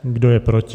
Kdo je proti?